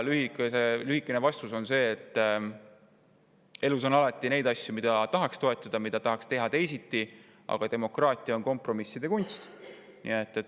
Lühikene vastus on see, et elus on alati neid asju, mida tahaks toetada või mida tahaks teha teisiti, aga demokraatia on kompromisside kunst.